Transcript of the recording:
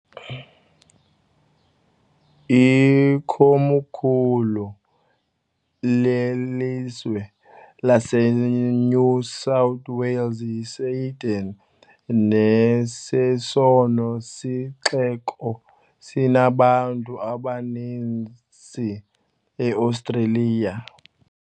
Ikomkhulu lelizwe laseNew South Wales yiSydney, nesesona sixeko sinabantu abaninzi eOstreliya.